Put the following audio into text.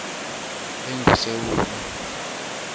engusewula